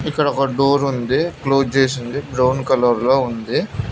ఇక్కడ ఒక డోర్ ఉంది క్లోజ్ చేసి ఉంది బ్రౌన్ కలర్ లో ఉంది.